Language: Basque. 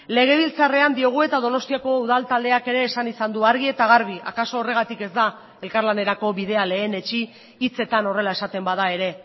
legebiltzarrean diogu eta donostiako udal taldeak ere esan izan du argi eta garbi akaso horregatik ez da elkarlanerako bidea lehenetsi hitzetan horrela esaten bada ere